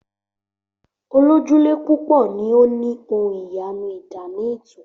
Olójúlé púpò ni o ni ohun iyanu ìdáná eto.